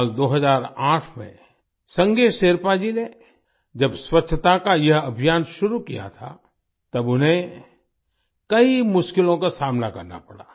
साल 2008 में संगे शेरपा जी ने जब स्वच्छता का यह अभियान शुरू किया था तब उन्हें कई मुश्किलों का सामना करना पड़ा